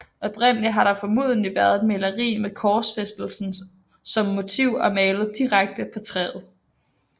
Oprindelig har der formodentlig været et maleri med korsfæstelsen som motiv og malet direkte på træet